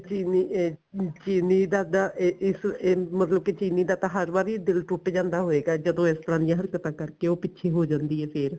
ਚੀਲੀ ਇਹ ਚੀਲੀ ਦਾ ਤਾਂ ਇਹ ਇਸ ਮਤਲਬ ਕੀ ਚੀਲੀ ਦਾ ਹਰ ਵਾਰੀ ਦਿਲ ਟੁੱਟ ਜਾਂਦਾ ਹੋਏਗਾ ਜਦੋਂ ਇਸ ਤਰਾਂ ਦੀ ਹਰਕਤਾਂ ਕਰਕੇ ਉਹ ਪਿਛੇ ਹੋ ਜਾਂਦੀ ਏ ਫੇਰ